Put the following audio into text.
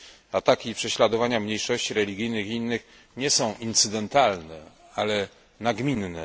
Ataki i prześladowanie mniejszości religijnych i innych nie są incydentalne, ale nagminne.